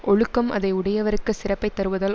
ஒழுக்கம் அதை உடையவர்க்குச் சிறப்பை தருவதால்